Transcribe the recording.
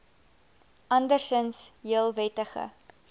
andersinds heel wettige